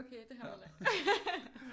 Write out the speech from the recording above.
Okay det er ham med det lange